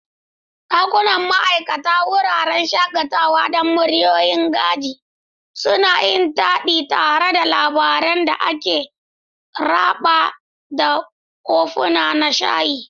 Dakunan ma'aikata, wuraren shakatawa don muryoyin gaji, suna yin taɗi tare da labaran da aka raba da kofuna na shayi.